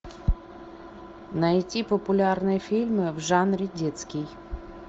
найти популярные фильмы в жанре детский